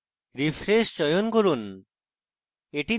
refresh চয়ন করুন